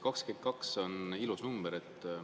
22 on ilus number.